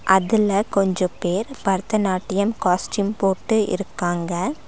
அதுல கொஞ்ச பேர் பரதநாட்டியம் காஸ்டியூம் போட்டு இருக்காங்க.